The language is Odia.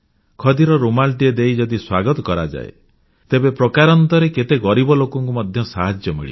ଖଦିର ରୁମାଲଟିଏ ଦେଇ ଯଦି ସ୍ୱାଗତ କରାଯାଏ ତେବେ ପ୍ରକାରାନ୍ତରେ କେତେ ଗରିବ ଲୋକବୁଣାକାରଙ୍କୁ ମଧ୍ୟ ସାହାଯ୍ୟ ମିଳିବ